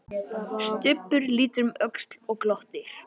Stubbur lítur um öxl og glottir.